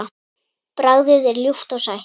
Bragðið er ljúft og sætt.